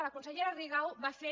la consellera rigau va fer